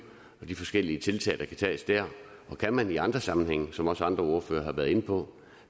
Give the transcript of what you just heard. og de forskellige tiltag der kan tages der kan man i andre sammenhænge som også andre ordførere har været inde på